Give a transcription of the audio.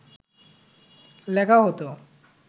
লেখা হত